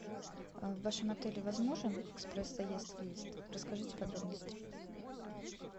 в вашем отеле возможен экспресс заезд выезд расскажите подробности